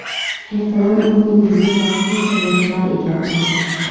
Ertadan o‘rningizni vaqtincha yoshlar egallaydi.